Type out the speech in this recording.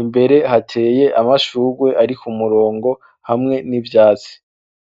imbere hateye amashugwe ari k' umurongo hamwe n'ivyatsi.